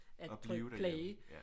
At blive derhjemme ja